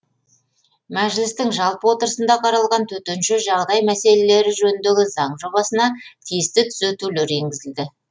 мәжілістің жалпы отырысында қаралған төтенше жағдай мәселелері жөніндегі заң жобасына тиісті түзетулер енгізілді